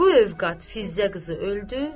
Bu övqat Fizza qızı öldü.